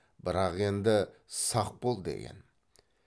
бірақ енді сақ бол деген